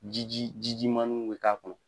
Jiji jiji maninw bɛ k'a kɔnɔ.